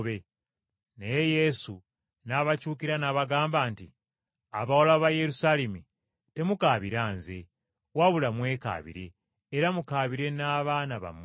Naye Yesu n’abakyukira n’abagamba nti, “Abawala ba Yerusaalemi, temukaabira Nze, wabula mwekaabire era mukaabire n’abaana bammwe.